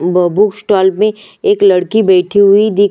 books stall में एक लड़की बैठी हुई दिख--